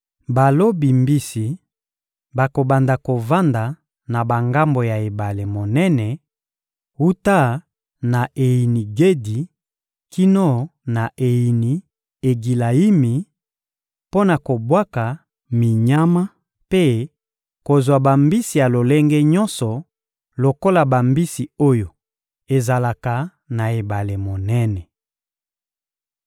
Balobi mbisi bakobanda kovanda na bangambo ya ebale monene, wuta na Eyini-Gedi kino na Eyini-Egilayimi, mpo na kobwaka minyama mpe kozwa bambisi ya lolenge nyonso lokola bambisi oyo ezalaka na ebale monene.